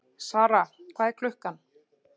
Sara, hvað er klukkan?